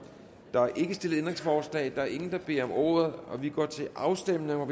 der er ikke stillet ændringsforslag der er ingen der beder om ordet så vi går til afstemning